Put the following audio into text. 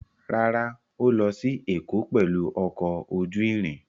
Rárá, Ó lọ sí Èkó pẹ̀lú ọkọ̀ ojú irin.